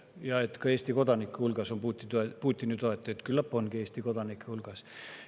Ja et ka Eesti kodanike hulgas on Putini toetajaid – küllap ongi neid ka Eesti kodanike hulgas.